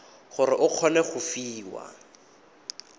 gore o kgone go fiwa